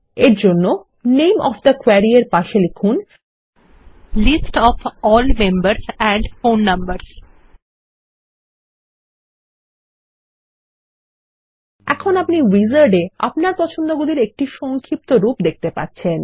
এরজন্য নামে of the query এর পাশে লিখুন list of all members and phone numbers এখন আপনি উইজার্ড এ আপনার পছন্দ গুলির একটি সংক্ষিপ্তরূপ দেখতে পাচ্ছেন